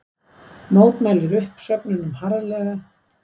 Mótmælir uppsögnunum harðlega